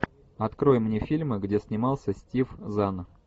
открой мне фильмы где снимался стив зан